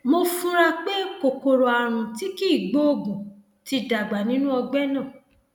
mo fura pé kòkòrò ààrùn tí kìí gbóògùn ti dàgbà nínú ọgbẹ náà